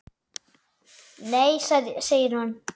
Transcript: Nei segir hann.